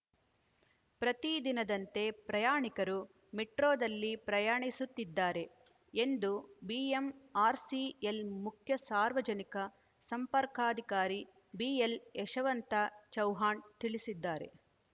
ಪ್ರತಿ ದಿನದಂತೆ ಪ್ರಯಾಣಿಕರು ಮೆಟ್ರೊದಲ್ಲಿ ಪ್ರಯಾಣಿಸುತ್ತಿದ್ದಾರೆ ಎಂದು ಬಿಎಂಆರ್‌ಸಿಎಲ್‌ ಮುಖ್ಯ ಸಾರ್ವಜನಿಕ ಸಂಪರ್ಕಾಧಿಕಾರಿ ಬಿಎಲ್‌ಯಶವಂತ ಚೌವ್ಹಾಣ್‌ ತಿಳಿಸಿದ್ದಾರೆ